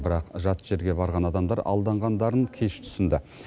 бірақ жат жерге барған адамдар алданғандарын кеш түсінді